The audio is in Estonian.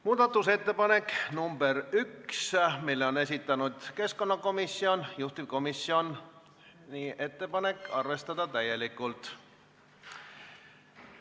Muudatusettepanek nr 1, mille on esitanud keskkonnakomisjon, juhtivkomisjoni ettepanek on arvestada täielikult.